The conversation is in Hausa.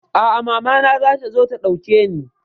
A'a, mama na zata zo ta ɗauke ni.